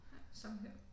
Ja samme her